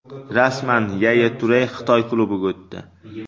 Rasman: Yaya Ture Xitoy klubiga o‘tdi.